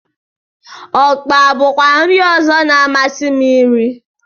Ọkpa bụkwa nri ọzọ na-amasị m irí.